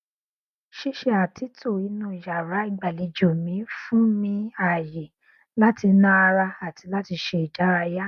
ṣíṣe àtúntò inú yàrá ìgbàlejò mi fún mi ààyè láti na ara àti láti ṣe ìdárayá